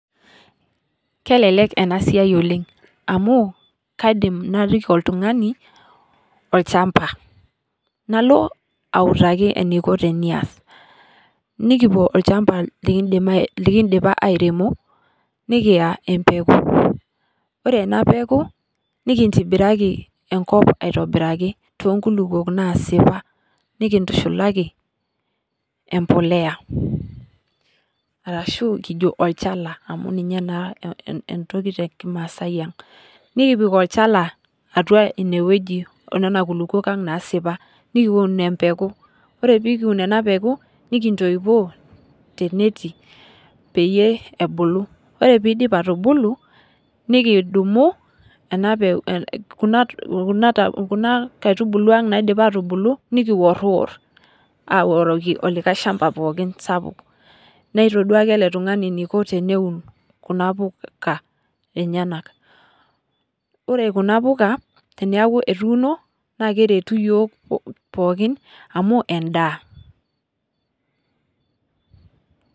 Kelelek ena siai oleng ,amu kaidim naliki oltungani olchampa ,nalo autaki eneikoni tenias ,nikipuo olchampa likindipa airemo nikinya empeku, ore ena peeku nikintibiraki enkop aitobiraki tookulupuok naasipa nikintushulaki embolea orashu olchala amu ninye naa entoki tekimaasai ang, nikipik olchala atua ineweji atua nena kulupuok ang naasipa ,nikiun empegu ore pee kiun ena peeku ,nikintoipoo tenetii peyie embuku, ore pee eidip atubulu ,nekidumu Kuna kaitubulu ang naidipa atubulu nikiworiwor aoriki likae shampa pookin sapuk ,naitoduaki ele tungani eneiko teneun Kuna puka enyenak. ore Kuna puka teneeku etuuno naa keretu yiok pookin amu endaa .